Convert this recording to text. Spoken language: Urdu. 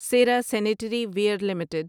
Sierra sanitary ware limited